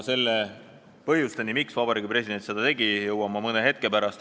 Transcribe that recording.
Põhjusteni, miks Vabariigi President seda tegi, jõuan ma mõne hetke pärast.